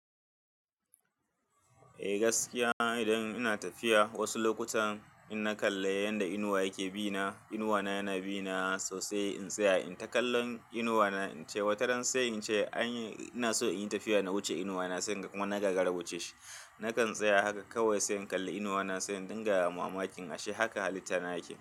Eh gaskiya, idan ina tafiya wasu lokutan in na kalla yanda inuwa yake bina. Inuwa na yana bina sosai. In tsaya in ta kallon inuwa na, in ce wadannan sai in ce anyi. Ina so in yi tafiya na wuce inuwa na, sai kuma na gaggara wuce shi. Nakan tsaya haka kawai, sai in kalli inuwa na, sai in dinga mu mamakin shi. Haka halitta nake.